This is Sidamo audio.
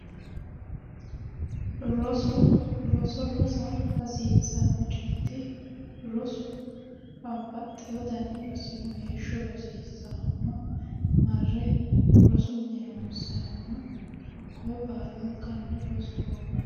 Roso roso rasa hasiisano coyeti rosu babbaxewo dani rosi no heesho rosiisaahu no marre rosu mine ronisayihu no hakkoye baalanikkanni rosoho yineemo